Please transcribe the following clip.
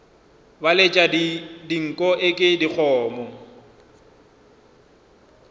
ba letša dinko eke dikgomo